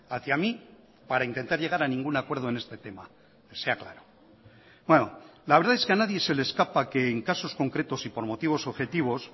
hacia mí para intentar llegar a ningún acuerdo en este tema sea claro bueno la verdad es que a nadie se le escapa que en casos concretos y por motivos objetivos